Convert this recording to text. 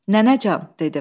Nənəcan, dedim.